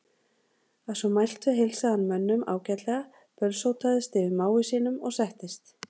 Að svo mæltu heilsaði hann mönnum ágætlega, bölsótaðist yfir mági sínum og settist.